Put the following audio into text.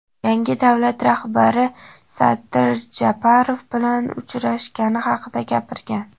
yangi davlat rahbari Sadir Japarov bilan uchrashgani haqida gapirgan.